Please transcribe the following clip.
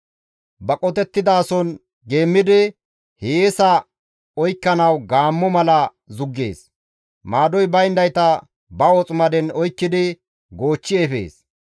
Ba qotettizason geemmidi, hiyeesa oykkanawu gaammo mala zuggees; maadoy bayndayta ba woximaden oykkidi goochchi efees.